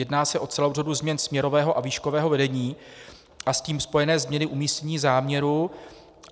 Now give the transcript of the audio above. Jedná se o celou řadu změn směrového a výškového vedení a s tím spojené změny umístění záměru.